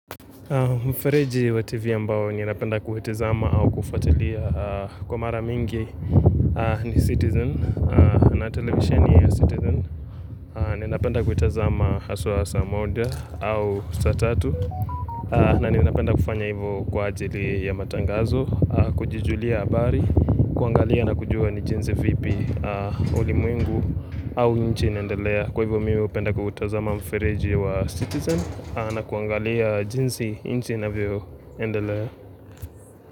Mfereji wa TV ambao ninapenda kuhitizama au kufatilia kwa mara mingi ni citizen na televisheni ya citizen. Ninapenda kuitazama haswa saa moja au saa tatu na ninapenda kufanya hivyo kwa ajili ya matangazo, kujijulia habari, kuangalia na kujua ni jinsi vipi ulimwengu au inchi inaendelea. Kwa hivyo mi hupenda kuutazama mfereji wa Citizen na kuangalia jinsi inchi inavyoendelea.